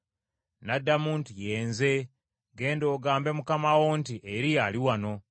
N’addamu nti, “Ye nze. Genda ogambe mukama wo nti, ‘Eriya ali wano.’ ”